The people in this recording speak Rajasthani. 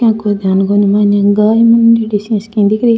या कोई ध्यान कोनी माइन एक गाय मानदेड़ी सी इया की दिख री है।